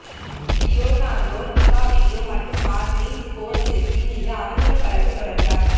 Leonardo DiCaprio மற்றும் Martin Scorsese மீது அவதூறு வழக்கு தொடர்ந்தார்